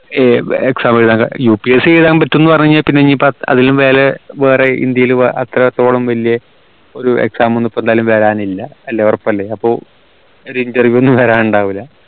ഏർ exam എഴുതാ UPSC എഴുതാ പറ്റും എന്ന് പറഞ്ഞാൽ പിന്നെ അതിലും വേറെ ഇന്ത്യയിൽ എത്രത്തോളം വലിയ ഒരു exam ഒന്നു ഇപ്പൊ എന്തായാലും വരാനില്ല അല്ലേ ഉറപ്പല്ലേ അപ്പൊ ഒരു interview ഒന്നു വരൻ ഉണ്ടാവൂല